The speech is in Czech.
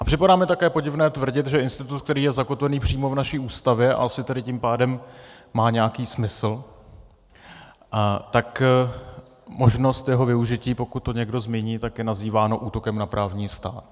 A připadá mi také podivné tvrdit, že institut, který je zakotvený přímo v naší Ústavě a asi tedy tím pádem má nějaký smysl, tak možnost jeho využití, pokud to někdo zmíní, tak je nazývána útokem na právní stát.